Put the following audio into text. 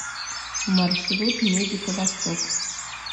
маршрут медика восток